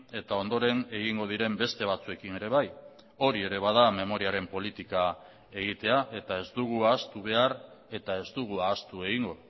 eta ondoren egingo diren beste batzuekin ere bai hori ere bada memoriaren politika egitea eta ez dugu ahaztu behar eta ez dugu ahaztu egingo